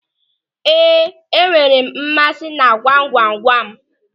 Ee, enwere m mmasị na gwamgwamgwam.